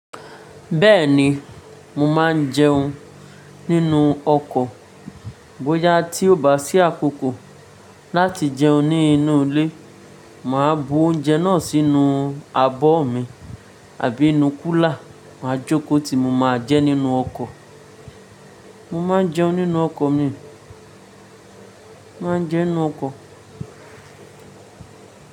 Bẹ́ẹ̀ni, mo máa ń jẹun nínú ọkọ̀. Bóyá tí ó bá sí àkókò láti jẹun nínú ilé, màá bu oúnjẹ náà sínú abọ́ mi àbí inú kúlà, màá jókòó tí mo máa jẹ nínú ọkọ̀. Mo máa ń jẹun nínú ọkọ̀ mi, màá ń jẹun nínú ọkọ̀.